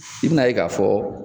I bi n'a ye k'a fɔ